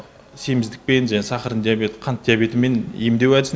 семіздікпен және сахарный диабет қант диабетімен емдеу әдісі